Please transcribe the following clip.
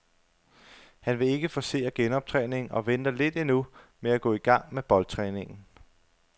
Han vil ikke forcere genoptræningen og venter lidt endnu med at gå i gang med boldtræningen.